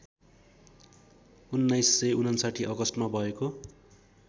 १९५९ अगस्टमा भएको